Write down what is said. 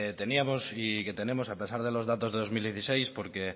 teníamos y que tenemos a pesar de los datos de dos mil dieciséis porque